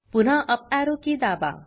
पुन्हा up arrow key दाबा